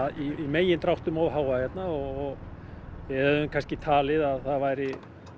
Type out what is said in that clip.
í megindráttum of háa hérna og við hefðum talið að það væri